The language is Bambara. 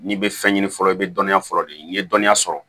N'i bɛ fɛn ɲini fɔlɔ i bɛ dɔnniya fɔlɔ de ɲini n'i ye dɔnniya sɔrɔ